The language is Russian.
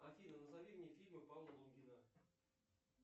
афина назови мне фильмы павла лунгина